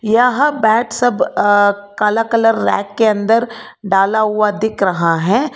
यहां बैट सब अ काला कलर रैक के अंदर डाला हुआ दिख रहा है।